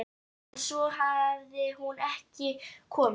En svo hafði hún ekki komið.